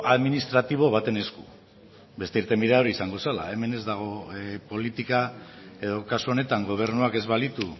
administratibo baten esku beste irtenbidea hori izango zela hemen ez dago politika edo kasu honetan gobernuak ez balitu